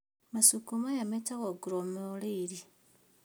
Macungo maya metagwo glomeruli